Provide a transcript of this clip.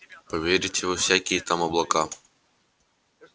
поверите во всякие там облака